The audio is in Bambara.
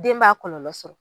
Den b'a kɔlɔlɔ sɔrɔ.